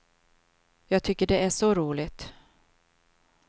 Jag tycker det är så roligt.